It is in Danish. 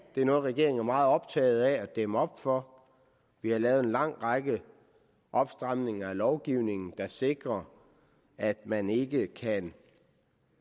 det er noget regeringen er meget optaget af at dæmme op for vi har lavet en lang række opstramninger af lovgivningen der sikrer at man ikke kan